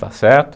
Está certo?